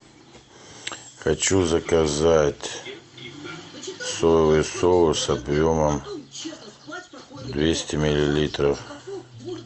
хочу заказать соевый соус объемом двести миллилитров